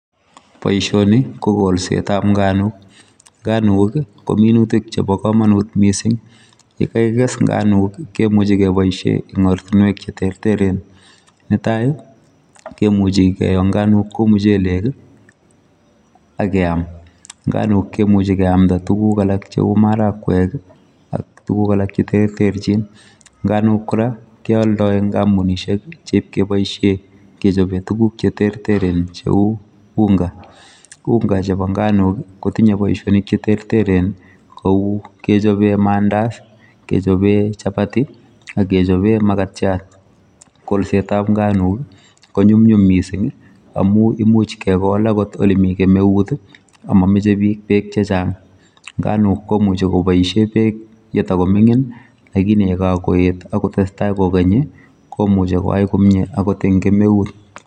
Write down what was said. boishoni ko kolset tab nganuk nganukii kominutik chepo komonut missing yegeigesh inganukii kimuchi keboishen en ortunuek cheterteren netai kemuchi kiyoo nganuk kou muchelek akeam nganuk kemuche keamda tuguk alak cheu marakwek ak tuguk alak cheterterchin nganuk kora keoldo en kampunishek che ipkeboishen kechopen tuguk cheterter kou unga unga chepo nganuk kotinye boishonik cheterter en kou kechopen mandazi kechopen chapati ak kechopen magatiat kolset tab nganuk ko nyunyum missing amun imuch kegol agot elemi kemeut ii a momoche beek chechang nganuk komuche koboishen beek yetokomingin lakini yekakoet agotesta kokeny komuche komie agot en kemeut